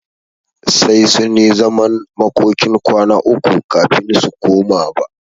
Sai sunyi zaman makokin kwana uku kafin su koma ba.